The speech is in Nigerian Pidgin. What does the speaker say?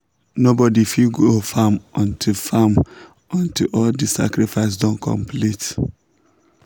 nobody fit go farm until farm until all the sacrifice don complete.